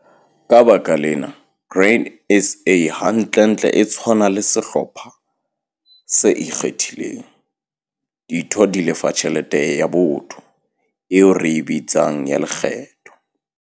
Ka baka lena, Grain SA hantlentle e tshwana le sehlopha se ikgethileng. Ditho di lefa 'tjhelete ya botho' eo re e bitsang ya 'lekgetho'.